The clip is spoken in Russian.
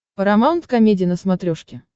парамаунт комеди на смотрешке